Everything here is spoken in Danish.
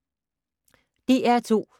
DR2